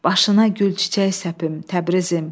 Başına gül çiçək səpim Təbrizim!